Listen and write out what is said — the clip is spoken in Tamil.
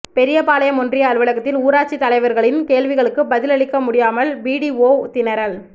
பெரியபாளையம் ஒன்றிய அலுவலகத்தில் ஊராட்சி தலைவர்களின் கேள்விகளுக்கு பதில் அளிக்க முடியாமல் பிடிஓ திணறல்